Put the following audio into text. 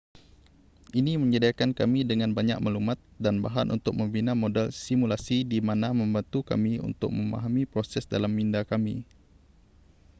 ini menyediakan kami dengan banyak maklumat dan bahan untuk membina model simulasi di mana membantu kami untuk memahami proses dalam minda kami